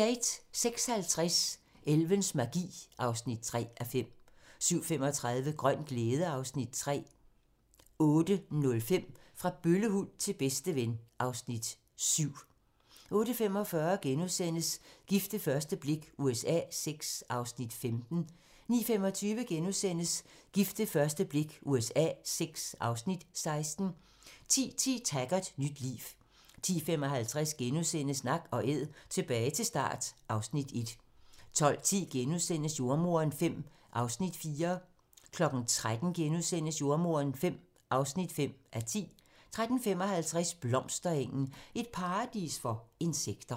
06:50: Elvens magi (3:5) 07:35: Grøn glæde (Afs. 3) 08:05: Fra bøllehund til bedsteven (Afs. 7) 08:45: Gift ved første blik USA VI (Afs. 15)* 09:25: Gift ved første blik USA VI (Afs. 16)* 10:10: Taggart: Nyt liv 10:55: Nak & Æd - tilbage til start (Afs. 1)* 12:10: Jordemoderen V (4:10)* 13:00: Jordemoderen V (5:10)* 13:55: Blomsterengen - et paradis for insekter